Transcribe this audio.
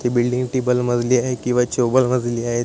ती बिल्डिंग टिबल मजली आहेत केंव्हा चोबल मजली आहेत.